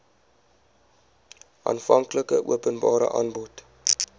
aanvanklike openbare aanbod